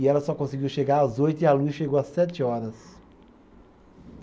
E ela só conseguiu chegar às oito e a luz chegou às sete horas.